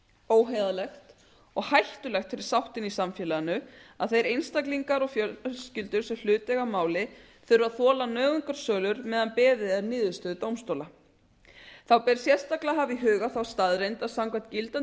óheiðarlegt og hættulegt fyrir sáttina í samfélaginu að þeir einstaklingar og fjölskyldur sem hlut eiga að máli þurfa að þola nauðungarsölur meðan beðið er niðurstöðu dómstóla þá ber sérstaklega að hafa í huga þá staðreynd að samkvæmt gildandi